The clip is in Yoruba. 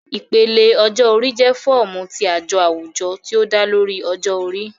Ipele ọjọ-ori jẹ fọọmu ti ajo awujọ ti o da lori ọjọ-ori